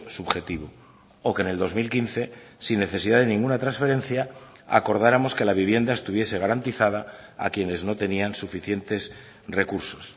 subjetivo o que en el dos mil quince sin necesidad de ninguna transferencia acordáramos que la vivienda estuviese garantizada a quienes no tenían suficientes recursos